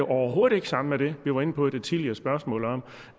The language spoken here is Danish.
overhovedet ikke sammen med det vi var inde på i det tidligere spørgsmål om